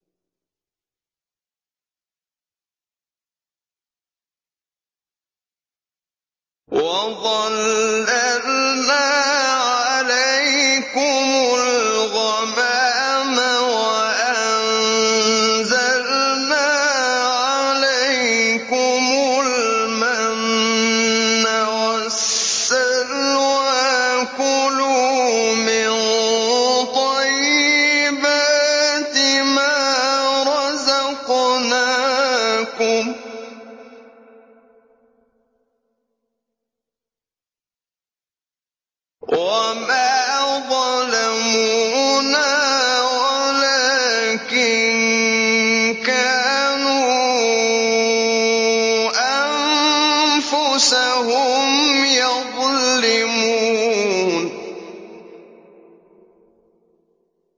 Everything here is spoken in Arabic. وَظَلَّلْنَا عَلَيْكُمُ الْغَمَامَ وَأَنزَلْنَا عَلَيْكُمُ الْمَنَّ وَالسَّلْوَىٰ ۖ كُلُوا مِن طَيِّبَاتِ مَا رَزَقْنَاكُمْ ۖ وَمَا ظَلَمُونَا وَلَٰكِن كَانُوا أَنفُسَهُمْ يَظْلِمُونَ